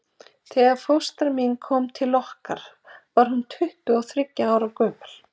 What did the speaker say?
Þegar fóstra mín kom til okkar var hún tuttugu og þriggja ára gömul.